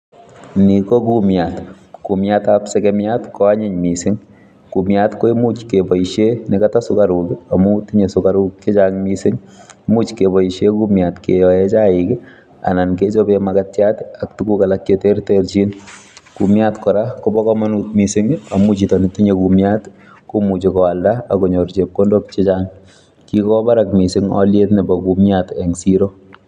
Ni ko kumiat. Kumiatab sekemiat ko anyiny missing. Kumiat ko imuch keboisie nekata sukaruk, amu tinye sukaruk chechang' missing. Imuch keboisie kumiat keyoe chaik, anan kechope mukatiat, ak tuguk alak che terterchin. Kumiat kora, kobo komonut missing, amu chito netinye kumiat komuchi koalda akonyor chepkondok chechang'. Kikwo barak missing aliet nebo kumiat eng' siro